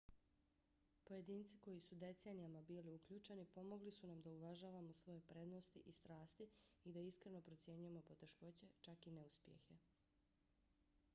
pojedinci koji su decenijama bili uključeni pomogli su nam da uvažavamo svoje prednosti i strasti i da iskreno procjenjujemo poteškoće čak i neuspjehe